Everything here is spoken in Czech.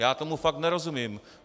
Já tomu fakt nerozumím.